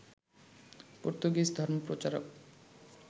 Portuguese ধর্মপ্রচারক